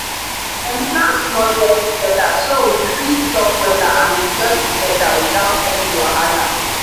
dem plan small get together so we fit talk wella and enjoy togada without any wahala.